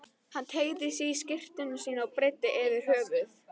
Hann teygði sig í skyrtuna sína og breiddi yfir höfuð.